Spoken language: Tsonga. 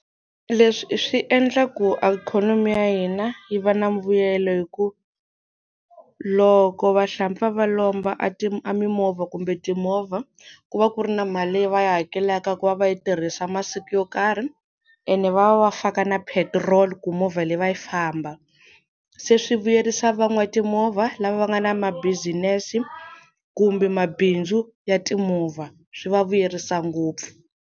Leswi swi endla ku ikhonomi ya hina yi va na mbuyelo hi ku loko vahlampfa va lomba a a mimovha kumbe timovha ku va ku ri na mali leyi va yi hakelaka ku va va yi tirhisa masiku yo karhi ene va va va faka na petrol ku movha leyi va yi famba se swi vuyerisa va n'watimovha lava va nga na ma-business kumbe mabindzu ya timovha swi va vuyerisa ngopfu.